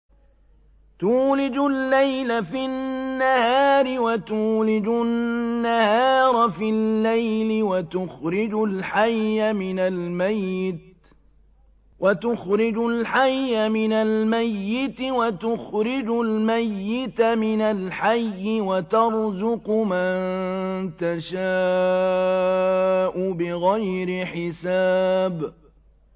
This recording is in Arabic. تُولِجُ اللَّيْلَ فِي النَّهَارِ وَتُولِجُ النَّهَارَ فِي اللَّيْلِ ۖ وَتُخْرِجُ الْحَيَّ مِنَ الْمَيِّتِ وَتُخْرِجُ الْمَيِّتَ مِنَ الْحَيِّ ۖ وَتَرْزُقُ مَن تَشَاءُ بِغَيْرِ حِسَابٍ